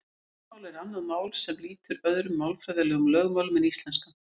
Táknmál er annað mál sem lýtur öðrum málfræðilegum lögmálum en íslenskan.